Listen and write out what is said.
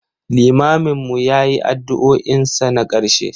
limamin mu ya yi addu'o'in sa na karshe.